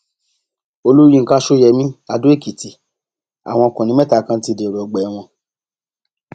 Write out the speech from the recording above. olùyinka ṣọyẹmi adóèkìtì àwọn ọkùnrin mẹta kan ti dèrò ọgbà ẹwọn